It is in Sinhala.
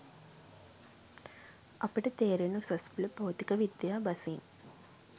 අපට තේරෙන උසස් පෙළ භෞතික විද්‍යා බසින්